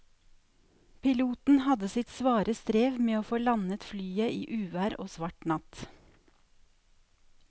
Piloten hadde sitt svare strev med å få landet flyet i uvær og svart natt.